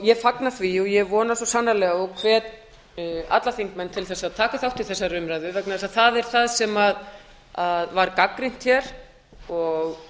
ég fagna því og vona svo sannarlega og hvet alla þingmenn til að taka þátt í þessari umræðu vegna þess að það er það sem var gagnrýnt hér og